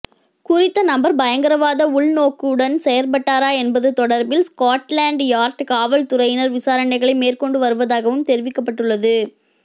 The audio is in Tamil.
குறித்த நபர் பயங்கரவாத உள்நோக்குடன் செயற்பட்டாரா என்பது தொடர்பில் ஸ்கொட்லாண்ட் யார்ட் காவல்துறையினர் விசாரணைகளை மேற்கொண்டு வருவதாகவும் தெரிவிக்கப்பட்டுள்ளது